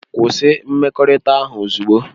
Kwụsị mmekọrịta ahụ ozugbo!